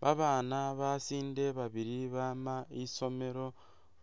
Babana basinde babili bama isomelo